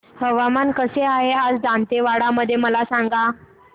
हवामान कसे आहे आज दांतेवाडा मध्ये मला सांगा